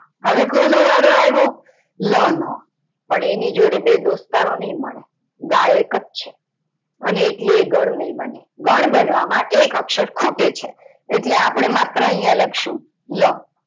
હવે કોનો વારો આઈવો? લા નો. અને એની જોડે બે દોસ્તારો નય મળે આ એકજ છે એટલે ગણ નય મળે અને એટલે એ ગણ ની મળે, ગણ બનવા માટે એક અક્ષર ખૂટે છે એટલે આપડે માત્ર ઐયા લખશું લ.